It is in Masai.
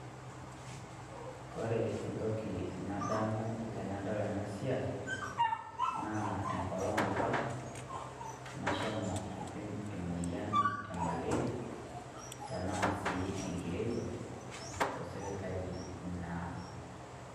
Kore ntoki nadamu tanadol ena siai, naa enkoong' epaa nashomoo aipim e moyian e maleria tanaa si enkirewa to sipitali naa.